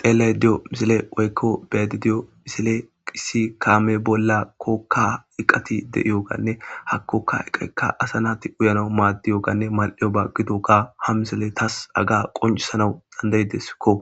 xele diyo misile woykko bedi diyo misile qissi kaame bolla kookka iqati de7iyo ganne hakkoka eqekka asa naati uyana maaddiyo ganne mal7eo ba gido ga ha misile taas aga qoncisanau dandaydeskko